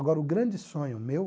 Agora o grande sonho meu